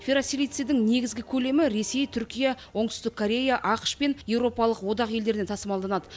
ферросилицийдің негізгі көлемі ресей түркия оңтүстік корея ақш пен еуропалық одақ елдеріне тасымалданады